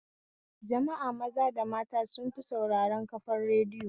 Jama'a maza da mata sun fi sauraren kafar radiyo